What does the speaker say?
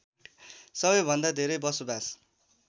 सबैभन्दा धेरै बसोबास